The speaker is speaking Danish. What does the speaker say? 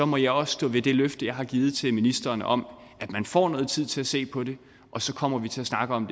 må jeg også stå ved det løfte jeg har givet til ministeren om at man får noget tid til at se på det og så kommer vi til at snakke om